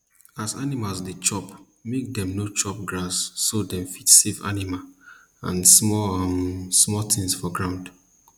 as animal dey chop make dem no chop grass so dem fit save animal and small um small things for ground